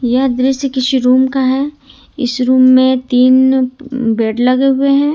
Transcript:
यह दृश्य किसी रूम का है इस रूम में तीन बेड लगे हुए हैं।